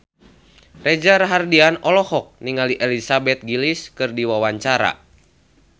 Reza Rahardian olohok ningali Elizabeth Gillies keur diwawancara